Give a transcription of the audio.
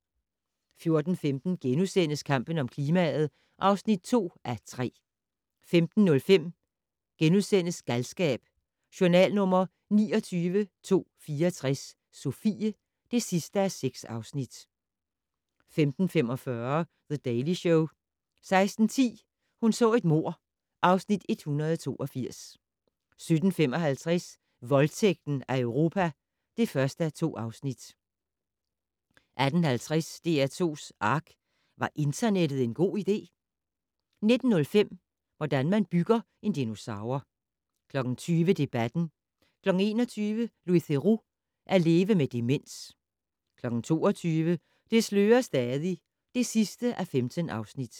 14:15: Kampen om klimaet (2:3)* 15:05: Galskab: Journal nr. 29.264 - Sofie (6:6)* 15:45: The Daily Show 16:10: Hun så et mord (Afs. 182) 17:55: Voldtægten af Europa (1:2) 18:50: DR2's ARK - Var internettet en god idé? 19:05: Hvordan man bygger en dinosaur 20:00: Debatten 21:00: Louis Theroux - at leve med demens 22:00: Det slører stadig (15:15)